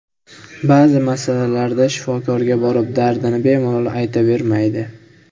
Ba’zi masalalarda shifokorga borib dardini bemalol aytavermaydi.